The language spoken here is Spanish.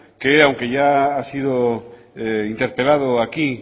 que aunque ya ha sido interpelado aquí